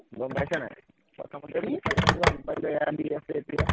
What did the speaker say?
গম পাইছা নাই, প্ৰথমতে seriously ভাল পাই যোৱা সেইকাৰণে দি আছে এতিয়া